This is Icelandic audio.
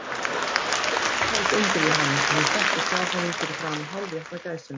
Afi hennar tók undir við hana, og hún settist hjá honum fyrir framan hálfétna gæsina.